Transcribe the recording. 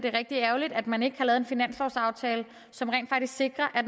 er rigtig ærgerligt at man ikke har lavet en finanslovsaftale som rent faktisk sikrer at